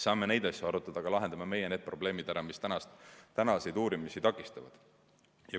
Saame neid asju arutada, aga lahendame meie need probleemid ära, mis tänaseid uurimisi takistavad.